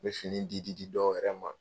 N bɛ fini di di di dɔw yɛrɛ ma.